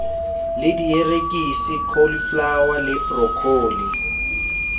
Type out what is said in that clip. le dierekisi cauliflower le broccoli